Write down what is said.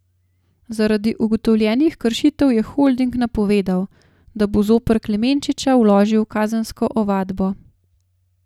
Zaradi ugotovljenih kršitev je holding napovedal, da bo zoper Klemenčiča vložil kazensko ovadbo.